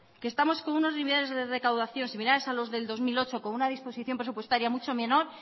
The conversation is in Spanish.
que estamos con unos de recaudación similares a los del dos mil ocho con una disposición presupuestaria mucho menor